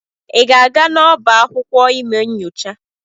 Ị ga-aga n'ọbá akwụkwọ ime nyocha?